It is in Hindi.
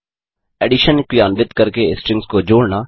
एडिशन क्रियान्वित करके स्ट्रिंग्स को जोड़ना